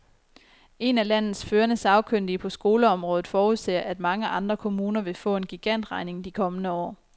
En af landets førende sagkyndige på skoleområdet forudser, at mange andre kommuner vil få en gigantregning de kommende år.